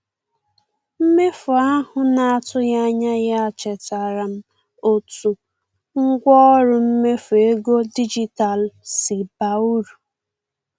Mmefu ahụ na-atụghị anya ya chetaara m otu ngwaọrụ mmefu ego dijitalụ si baa uru.